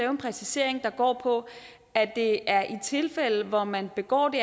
en præcisering der går på at det er i tilfælde hvor man begår det